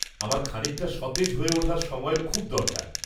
-আমার খানিকটা সতেজ হয়ে ওঠার সময়ের খুব দরকার।